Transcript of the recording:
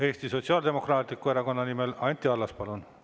Eesti Sotsiaaldemokraatliku Erakonna nimel Anti Allas, palun!